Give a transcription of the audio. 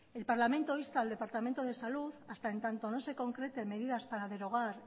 el parlamento insta al departamento de salud hasta en tanto no se concreten medidas para derogar